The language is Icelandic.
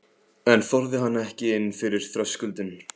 Einn þorði hann ekki inn fyrir þröskuldinn.